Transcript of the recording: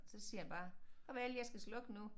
Så siger han bare farvel jeg skal slukke nu